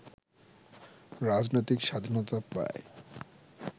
রাজনৈতিক স্বাধীনতা পায়